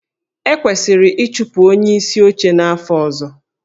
E kwesịrị ịchụpụ onyeisi oche n'afọ ọzọ?